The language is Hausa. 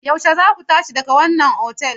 Yaushe zaku tashi daga wannan otal?